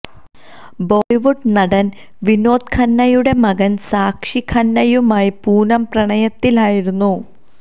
ബോളിവുഡ് നടന് വിനോദ് ഖന്നയുടെ മകന് സാക്ഷി ഖന്നയുമായി പൂനം പ്രണയത്തിലായിരുന്നു